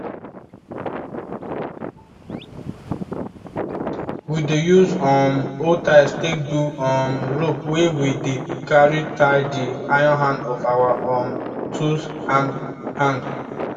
we dey use um old tyres take do um rope wey we dey carry tie the iron hand of our um tools hand hand